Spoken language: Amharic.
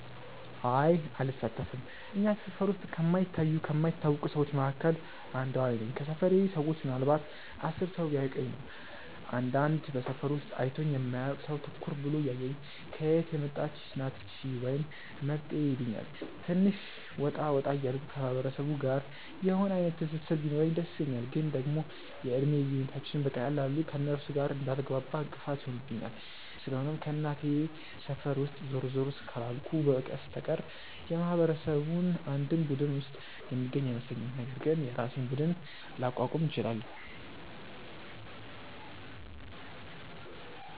አይ አልሳተፍም። እኛ ሰፈር ውስጥ ከማይታዩ ከማይታወቁ ሰዎች መካከል አንዷ እኔ ነኝ። ከሰፈሬ ሰዎች ምናልንባት 10 ሰው ቢያውቀኝ ነው። አንዳንድ በሰፈሩ ውስጥ አይቶኝ የማያውቅ ሰው ትኩር ብሎ እያየኝ "ከየት የመጣች ናት እቺ?" ወይም "መጤ" ይሉኛል። ትንሽ ወጣ ወጣ እያልኩ ከማህበረሰቡ ጋር የሆነ አይነት ትስስር ቢኖረኝ ደስ ይለኛል፤ ግን ደግሞ የእድሜ ልዩነታችንም በቀላሉ ከእነርሱ ጋር እንዳልግባባ እንቅፋት ይሆንብኛል። ስለሆነም ከእናቴ ሰፈር ውስጥ ዞር ዞር ካላልኩ በስተቀር የማህበረሰቡ አንድም ቡድን ውስጥ የምገኝ አይመስለኝም፤ ነገር ግን የራሴን ቡድን ላቋቁም እችላለው።